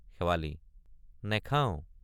শেৱালি—নেখাওঁ।